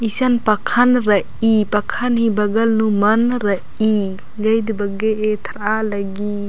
ईसन पखन रइई पखन ही बगल नू मन्न रइई जइत बग्गे एथरालग्गी--